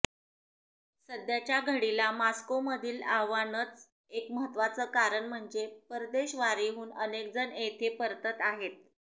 सध्याच्या घडीला मॉस्कोमधील आव्हानाचं एक महत्त्वाचं कारण म्हणजे परदेशवारीहून अनेकजण येथे परतत आहेत